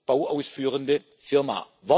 bauausführende Firma.